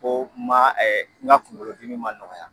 Ko n ma ɛ n ka kungolodimi ma nɔgɔya